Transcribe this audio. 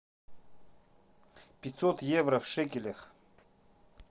пятьсот евро в шекелях